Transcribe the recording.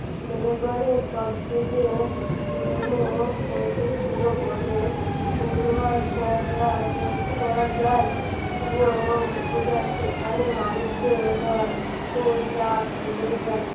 মেহেরগড়ের সবথেকে পুরোনো ছিল বলে অনুমান করা করা যায় সেখানে মানুষের গড় ও